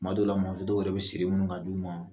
Tuma dɔw la mɔmuso dɔw yɛrɛ bɛ seri munn ka di u ma